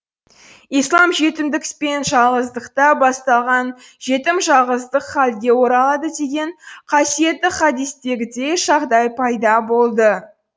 ислам жетімдік пен жалғыздықта басталған жетім жалғыздық халге оралады деген қасиетті хадистегідей жағдай пайда болды